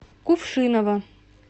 кувшиново